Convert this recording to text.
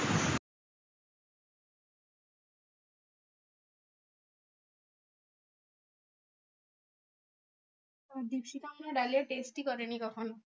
দ্বীপশিখা এখনো ডালিয়া test ই করেনি কখনো।